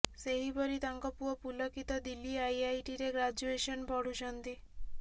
ସେହିପରି ତାଙ୍କ ପୁଅ ପୁଲକିତ ଦିଲ୍ଲୀ ଆଇଆଇଟିରେ ଗ୍ରାଜୁଏସନ୍ ପଢୁଛନ୍ତି